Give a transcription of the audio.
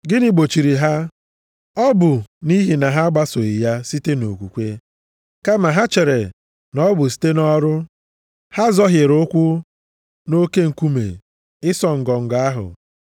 Gịnị gbochiri ha? Ọ bụ nʼihi na ha agbasoghị ya site nʼokwukwe. Kama ha chere na ọ bụ site nʼọrụ. Ha zọhiere ụkwụ nʼoke nkume ịsọ ngọngọ ahụ.